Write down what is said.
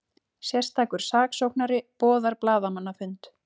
Sérstakur saksóknari boðar blaðamannafund